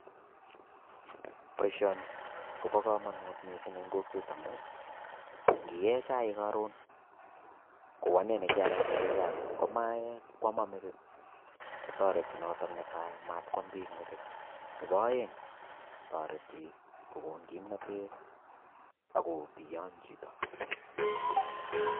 Boisioni ko bokamanut missing eng kokwet amu ngiee chaik karon kou ane nekianaite aee chaik, ngomae kwomo metik kotoreti notok netai mat mwam bik metit. Nebo aeng kotoreti kokon kimnatet ak kobiyony chito.